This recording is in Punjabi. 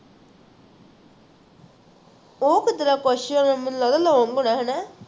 ਉਹ ਕਿੱਦਰ question ਮੈਨੂੰ ਲੱਗਿਆ long ਹੋਣਾ ਹੈ ਹੈਨਾ